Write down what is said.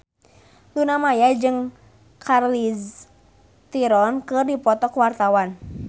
Luna Maya jeung Charlize Theron keur dipoto ku wartawan